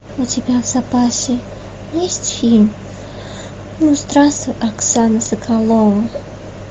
у тебя в запасе есть фильм ну здравствуй оксана соколова